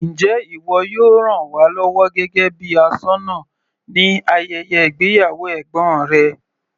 Njẹ́ ìwọ yóò ràn wá lọ́wọ́ gẹ́gẹ́ bíi aṣọ́nà ní ayẹyẹ ìgbéyàwó ẹ̀gbọ́n rẹ.